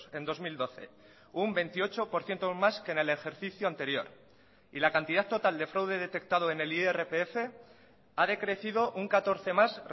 en dos mil doce un veintiocho por ciento más que en el ejercicio anterior y la cantidad total de fraude detectado en el irpf ha decrecido un catorce más